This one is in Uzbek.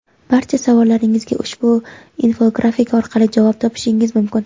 Barcha savollaringizga ushbu infografika orqali javob topishingiz mumkin!.